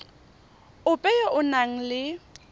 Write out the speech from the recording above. ope yo o nang le